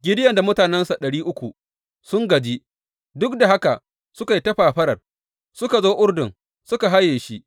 Gideyon da mutanensa ɗari uku, sun gaji, duk da haka suka yi ta fafarar, suka zo Urdun suka haye shi.